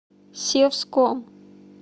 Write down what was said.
севском